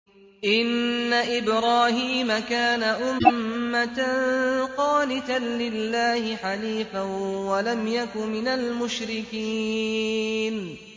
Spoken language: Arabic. إِنَّ إِبْرَاهِيمَ كَانَ أُمَّةً قَانِتًا لِّلَّهِ حَنِيفًا وَلَمْ يَكُ مِنَ الْمُشْرِكِينَ